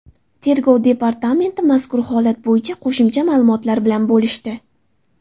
Tergov departamenti mazkur holat bo‘yicha qo‘shimcha ma’lumotlar bilan bo‘lishdi .